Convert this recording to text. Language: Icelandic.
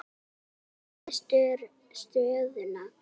Heimir: Þetta flækir stöðuna?